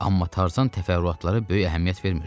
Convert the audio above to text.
Amma Tarzan təfərrüatlara böyük əhəmiyyət vermirdi.